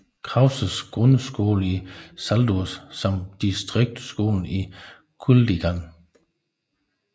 Krauses grundskole i Saldus samt distriktsskolen i Kuldīga